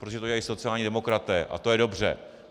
Protože to dělají sociální demokraté a to je dobře.